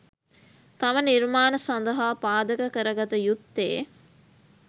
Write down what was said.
තම නිර්මාණ සඳහා පාදක කරගත යුත්තේ